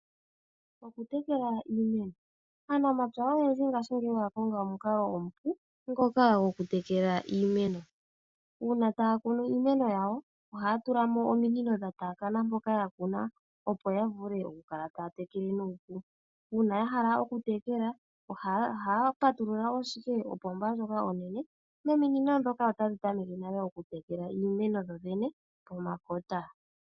Okutekela iimeno. Aanamapya ogendji ngashingeyi okonga omukalo omupu gokutekela iimeno. Uuna ta yakunu iimeno yawo oha ya tulamo ominino dheenda mpoka yakuna opo yavule okukala ta ya tekele. uuna ta ya tekele ohaya patulula opomba nomi nino otadhi tameke okutekela iimeno pomakota